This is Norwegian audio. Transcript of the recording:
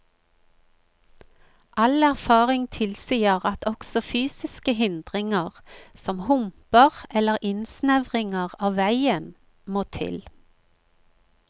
All erfaring tilsier at også fysiske hindringer, som humper eller innsnevringer av veien, må til.